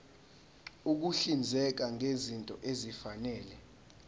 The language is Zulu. ukuhlinzeka ngezinto ezifanele